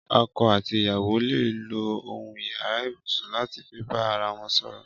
Ọkọ àtí ìyàwó lé ló óhún iyàrá ibúsún làtí fi bà àrà wọn sọrọ